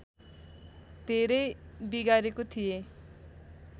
धेरै बिगारेको थिएँ